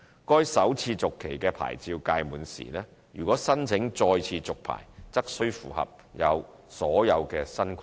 該首次續期的牌照屆滿時，如果申請再次續牌，則須符合所有新規定。